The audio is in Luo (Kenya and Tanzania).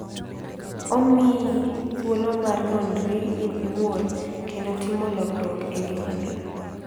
Omiyi thuolo mar nonri in iwuon, kendo timo lokruok e ngimani.